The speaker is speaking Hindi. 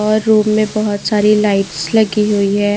और रूम में बहुत सारी लाइट्स लगी हुई है।